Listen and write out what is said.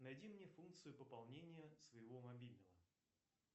найди мне функцию пополнения своего мобильного